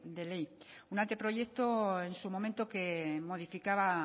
de ley un anteproyecto en su momento que modificaba